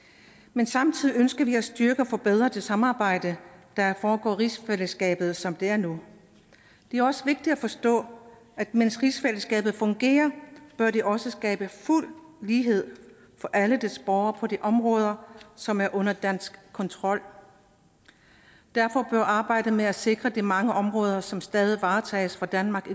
men samtidig ønsker vi at styrke og forbedre det samarbejde der foregår i rigsfællesskabet som det er nu det er også vigtigt at forstå at mens rigsfællesskabet fungerer bør det også skabe fuld lighed for alle dets borgere på de områder som er under dansk kontrol derfor bør arbejdet med at sikre de mange områder som stadig varetages fra danmarks